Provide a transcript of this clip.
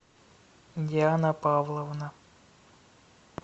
диана павловна